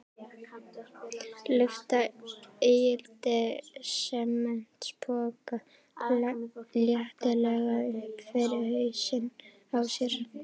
Lyfta ígildi sementspoka léttilega upp fyrir hausinn á sér.